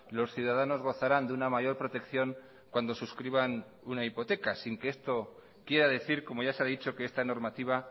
los ciudadanos gozarán de una mayor protección cuando suscriban una hipoteca sin que esto quiera decir como ya se ha dicho que esta normativa